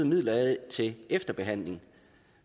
midler af til efterbehandling